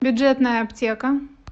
бюджетная аптека